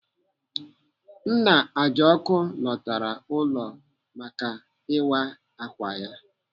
Nna Ajoku lọtara ụlọ maka ịwa akwa ya.